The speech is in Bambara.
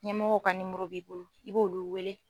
Ɲɛmɔgɔw ka b'i bolo i b'olu wele.